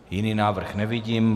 Jiný návrh nevidím.